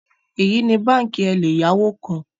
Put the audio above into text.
Eyi ni banki eleyawo kan